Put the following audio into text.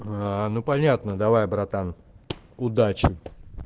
аа ну понятно давай братан удачи